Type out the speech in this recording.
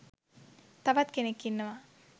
තවත් කෙනෙක් ඉන්නවා